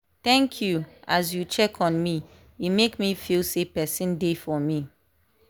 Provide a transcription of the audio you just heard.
thank you as you check on me e make me feel sey person dey for me.